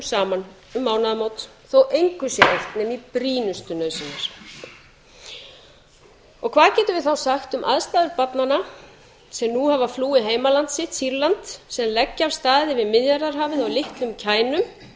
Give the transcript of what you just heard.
saman um mánaðamót þó engu sé eytt nema í brýnustu nauðsynjar hvað getum við þá sagt um aðstæður barnanna sem nú hafa flúið heimaland sitt sýrland sem leggja af stað yfir miðjarðarhafið á litlum kænum